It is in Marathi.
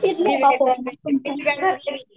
तुमच्या घरची